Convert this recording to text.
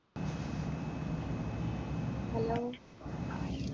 hello